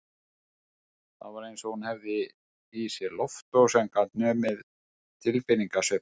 Það var eins og hún hefði í sér loftvog sem gat numið tilfinningasveiflur